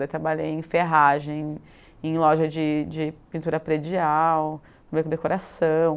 Daí trabalhei em ferragem, em loja de de pintura predial, também com decoração.